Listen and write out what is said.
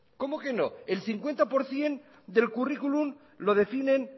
cómo que no el cincuenta por ciento del currículum lo definen